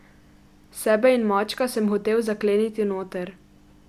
Sebe in mačka sem hotel zakleniti noter.